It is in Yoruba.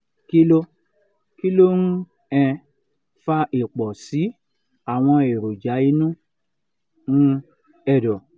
kí ló kí ló ń um fa ìpọ̀ sí àwọn èròjà inú um ẹ̀dọ̀?